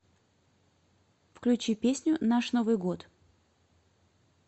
включи песню наш новый год